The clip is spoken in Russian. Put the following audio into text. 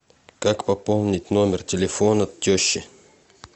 как пополнить номер телефона тещи